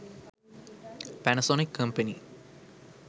panasonic company